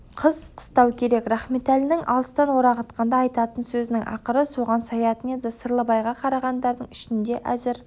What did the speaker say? қыс қыстау керек рахметәлі алыстан орағытқанда айтатын сөзінің ақыры соған саятын еді сырлыбайға қарағандардың ішінде әзір